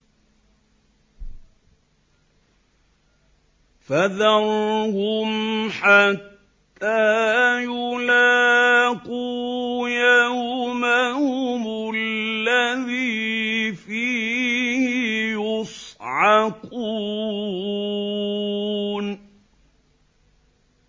فَذَرْهُمْ حَتَّىٰ يُلَاقُوا يَوْمَهُمُ الَّذِي فِيهِ يُصْعَقُونَ